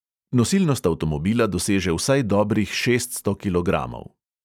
Nosilnost avtomobila doseže vsaj dobrih šeststo kilogramov.